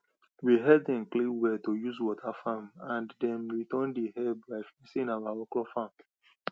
we help dem clean well to use water farm and dem return the help by fencing our okro farm